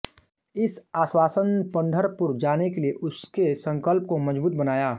इस आश्वासनपंढरपुर जाने के लिए उसके संकल्प को मजबूत बनाया